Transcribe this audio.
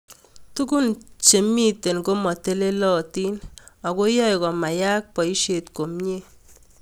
Tugún che mito komatelelatin ako yae komayai poishet komie